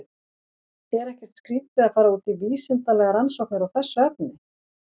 Er ekkert skrítið að fara út í vísindalegar rannsóknir á þessu efni?